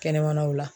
Kɛnɛmanaw la